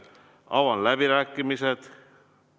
Avan läbirääkimised.